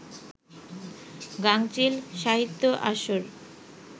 গাঙচিল সাহিত্য আসর